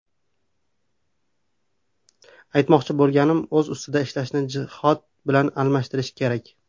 Aytmoqchi bo‘lganim, o‘z-ustida ishlashni jihod bilan almashtirish kerak.